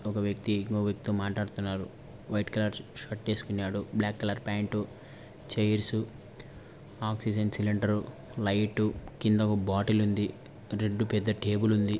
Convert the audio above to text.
ఒక వ్యక్తి ఇంకో వ్యక్తి తో మాట్లాడుతునాడు వైట్ కలర్ షర్టు వేస్కునాడు black colour pant chairs oxygen cylinder light కింద ఒక బాటిల్ ఉంది రెడ్డు పెద్ద టేబుల్ ఉంది.